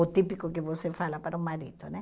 O típico que você fala para o marido né.